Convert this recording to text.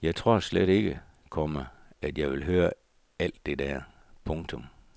Jeg tror slet ikke, komma at jeg vil høre alt det der. punktum